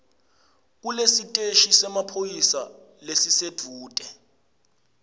kulesiteshi semaphoyisa lesisedvute